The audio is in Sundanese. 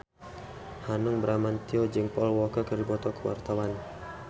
Hanung Bramantyo jeung Paul Walker keur dipoto ku wartawan